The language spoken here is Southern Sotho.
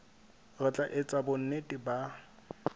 re tla etsa bonnete ba